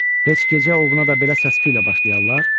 Heç gecə ovuna da belə səsküylə başlayarlar?